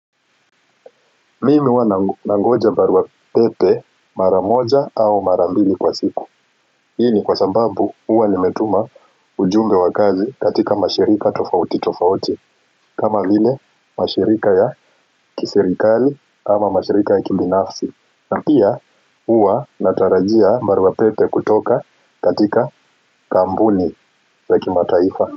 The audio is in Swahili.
Mimi huwa na nangoja barua pepe mara moja au mara mbili kwa siku hii ni kwa sababu huwa nimetuma ujumbe wa kazi katika mashirika tofauti tofauti kama vile mashirika ya kisirikali ama mashirika ya kibinafsi napia huwa natarajia barua pepe kutoka katika kampuni za kimataifa.